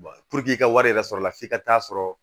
puruke i ka wari yɛrɛ sɔrɔ la f'i ka taa sɔrɔ